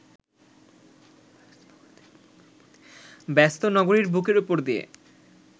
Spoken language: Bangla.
ব্যস্ত নগরীর বুকের উপর দিয়ে